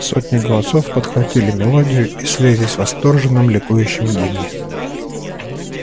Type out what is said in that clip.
сотни голосов подхватили мелодию и слились в восторженном ликующем гимне